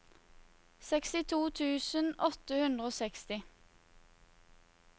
sekstito tusen åtte hundre og seksti